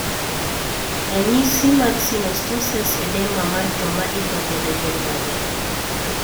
Ranyisi mag synostoses edema mar joma idho gode gin mage?